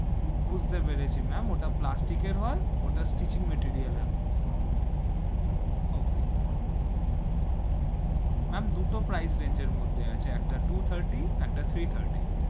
বুঝতে পেরেছি, ma'am ওটা plastic এর হয়, ওটা steel material এর হয়, okay ma'am, ma'am দুটো price range এর মধ্যে আছে, একটা two thirty একটা three thirty,